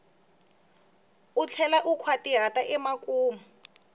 u tlhela u nkhwatihata emakumu